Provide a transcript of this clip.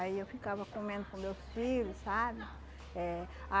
Aí eu ficava comendo com meus filho, sabe? Eh